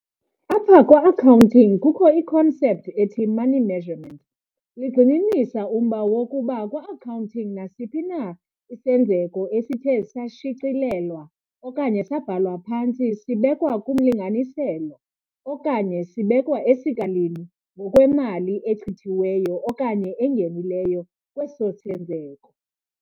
apha kwa-Accounting kukho I-concept ethi 'The money measurement' ligxininisa umba wokokuba kwa-Accounting, nsiphi na isenzeko esithe sashicilelwa okanye sabhalwa phantsi sibekwa kumlinganiselo okanye sibekwa esikalini ngokwemali echithiweyo okanye engenileyo kweso senzeko.